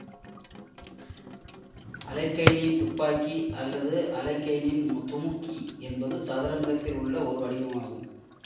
அலெக்கைனின் துப்பாக்கி அல்லது அலெக்கைனின் துமுக்கி என்பது சதுரங்கத்தில் உள்ள ஒரு வடிவமாகும்